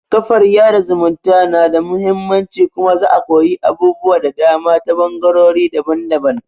kafar yaɗa zumunta na da muhimmanci kuma za'a koyi abubuwa da dama ta ɓangarori daban-daban